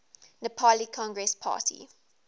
nepali congress party